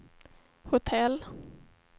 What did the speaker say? hotell